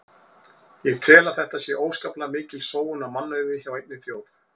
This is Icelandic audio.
Ég tel að þetta sé óskaplega mikil sóun á mannauði hjá einni þjóð.